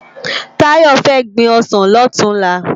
Tayo fè gbin òsán lòtúnlá